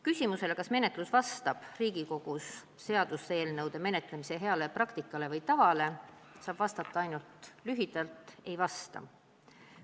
Küsimusele, kas menetlus vastab Riigikogus seaduseelnõude menetlemise heale tavale, saab lühidalt vastata ainult: ei vasta.